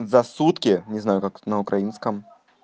за сутки не знаю как на украинском